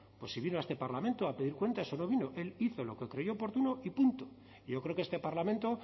se vino a este parlamento a pedir cuentas o no vino él hizo lo que creyó oportuno y punto yo creo que este parlamento